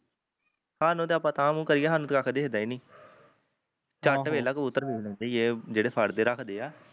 ਹਾਨੂੰ ਤੇ ਪਤਾ ਆ ਕਿਉਂ ਹਾਨੂੰ ਤੇ ਕੁੱਖ ਦੇਖਦਾ ਈ ਨਹੀਂ ਚਟ ਵੇਖਲਾ ਕਬੂਤਰ ਦੇ ਦਿਦੇ ਇਹ ਜਿਹੜੇ ਫੜਕੇ ਰਖਦੇ ਆ